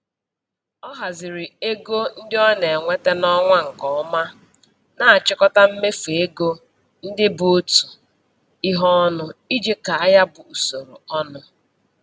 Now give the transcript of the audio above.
Ọ haziri ego ndị ọ na-enweta n'ọnwa nke ọma, na-achịkọta mmefu ego ndị bụ otu ihe ọnụ iji kaa ya bụ usoro ọnụ.